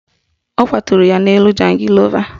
Ọ kwaturu ya n'elu jangịlova